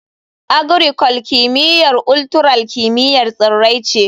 Agricul; kimiyyar ultural kimiyyar tsirrai ne.